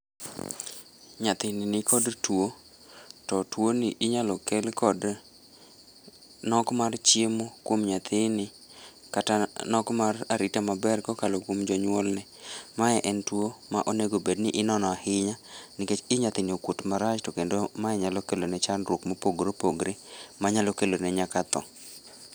Nyathini nikod tuo, to tuoni inyalokel kod, nok mar chiemo kwom nyathini kata nok mar arita maber kokalo kwom jonyuolne , mae en tuo ma onego obedni inono ahinya nikech ii nyathini okuot marach to kendo mae nyalokelone chandruok mopogore opogore manyalo kelone nyaka thoo.